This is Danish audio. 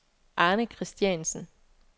Arne Kristiansen